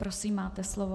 Prosím, máte slovo.